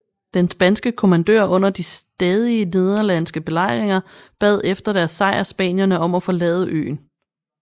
Den spanske kommandør under de stadige nederlandske belejringer bad efter deres sejr spanierne om at forlade øen